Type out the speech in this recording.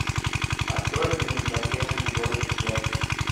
открой фильм затерянный город зет